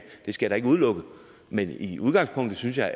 det skal jeg da ikke udelukke men i udgangspunktet synes jeg